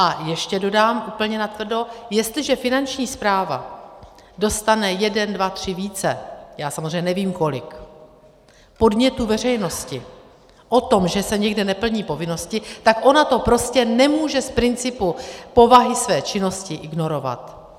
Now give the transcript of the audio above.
A ještě dodám úplně natvrdo: jestliže Finanční správa dostane jeden, dva, tři, více, já samozřejmě nevím kolik, podnětů veřejnosti o tom, že se někde neplní povinnosti, tak ona to prostě nemůže z principu povahy své činnosti ignorovat.